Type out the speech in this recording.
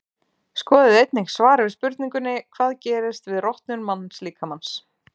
Skoðið einnig svar við spurningunni Hvað gerist við rotnun mannslíkamans?